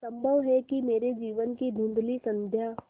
संभव है कि मेरे जीवन की धँुधली संध्या